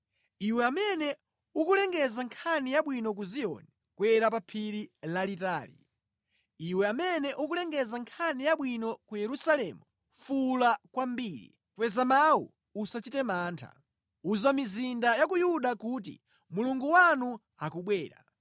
Iwe amene ukulengeza nkhani yabwino ku Ziyoni, kwera pa phiri lalitali. Iwe amene ukulengeza nkhani yabwino ku Yerusalemu, fuwula kwambiri, kweza mawu, usachite mantha; uza mizinda ya ku Yuda kuti, “Mulungu wanu akubwera!”